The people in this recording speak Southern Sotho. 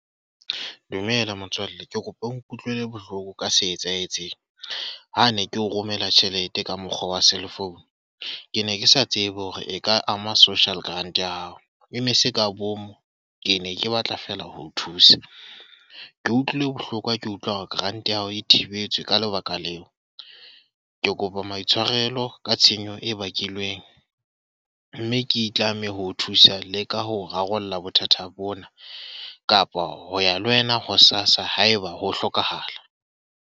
Dumela motswalle. Ke kopa o nkutlwele bohloko ka se etsahetseng. Ha ne ke o romela tjhelete ka mokgwa wa cell phone. Ke ne ke sa tsebe hore e ka ama social grant ya hao. E ne se ka bomo, ke ne ke batla fela ho thusa. Ke utlwile bohloko ha ke utlwa hore grant ya hao e thibetswe ka lebaka leo. Ke kopa maitshwarelo ka tshenyo e bakilweng. Mme ke itlame ho thusa le ka ho rarolla bothata bona. Kapa ho ya le wena ho SASSA haeba ho hlokahala.